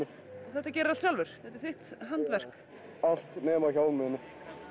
þetta gerirðu allt sjálfur þetta er þitt handverk allt nema hjálminn